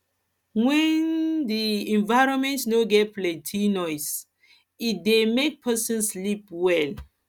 when um di environment no get plenty nose e dey make person sleep well